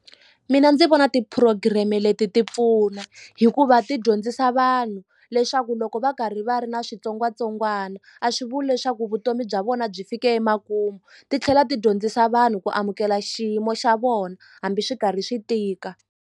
Mina ndzi vona ti-program-e leti ti pfuna hikuva ti dyondzisa vanhu leswaku loko va karhi va ri na xitsongwatsongwana a swi vuli leswaku vutomi bya vona byi fike emakumu titlhela ti dyondzisa vanhu ku amukela xiyimo xa vona hambi swi karhi swi tika.